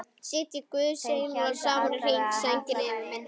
Sitji guðs englar saman í hring, sænginni yfir minni.